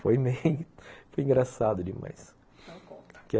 Foi meio... foi engraçado demais. Então conta